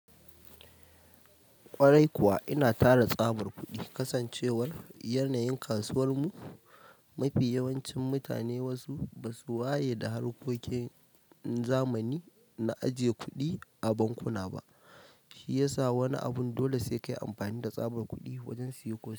Kwarai kuwa ina tara tsabar kuɗi, kasancewar yanayin kasuwar mu mafi yawancin mutane wasu ba su waye da harkokin zamani na ajiye kuɗi a bankuna ba, shi yasa wani abun dole sai kayi amfani da tsabar kuɗi wajen siye ko.